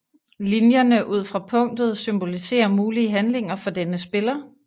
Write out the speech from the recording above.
Linjerne ud fra punktet symboliserer mulige handlinger for denne spiller